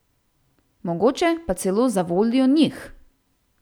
Mogoče pa celo zavoljo njih.